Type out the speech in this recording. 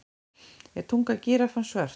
Er tunga gíraffans svört?